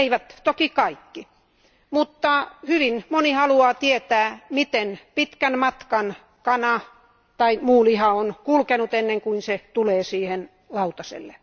Eivät toki kaikki mutta hyvin monet haluavat tietää, miten pitkän matkan kana tai muu liha on kulkenut ennen kuin se tulee lautaselle.